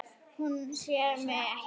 Hún sér mig ekki.